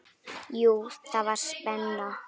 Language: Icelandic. Jú, það var spenna.